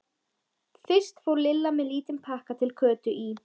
Fyrst fór Lilla með lítinn pakka til Kötu í